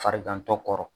Farigantɔ kɔrɔ